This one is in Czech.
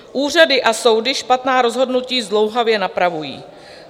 Úřady a soudy špatná rozhodnutí zdlouhavě napravují.